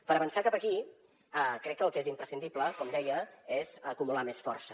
per avançar cap aquí crec que el que és imprescindible com deia és acumular més força